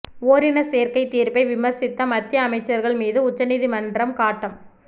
ஓரினச் சேர்க்கை தீர்ப்பை விமர்சித்த மத்திய அமைச்சர்கள் மீது உச்ச நீதிமன்றம் காட்டம்